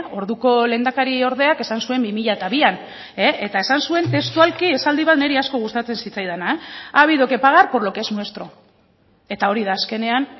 orduko lehendakariordeak esan zuen bi mila bian eta esan zuen testualki esaldi bat niri asko gustatzen zitzaidana ha habido que pagar por lo que es nuestro eta hori da azkenean